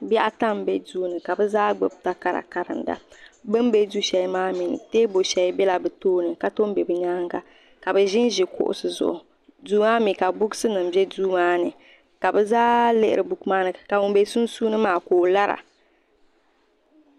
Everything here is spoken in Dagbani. bihi ata m-be duu ni ka bɛ zaa gbubi takara karinda bɛ be du'shɛli maa mi teebuli bela bɛ tooni ka tɔn be bɛ nyaaga ka ʒi ʒi kuɣisi zuɣu duu maa mi ka buksinima be duu maa ni ka zaa lihiri buku maa ni ka ŋun be sunsuuni maa ka o lara.